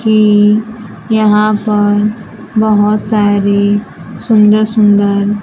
की यहां पर बहोत सारी सुंदर सुंदर--